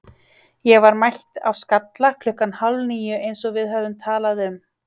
Ég var mætt á Skalla klukkan hálf níu eins og við höfðum talað um.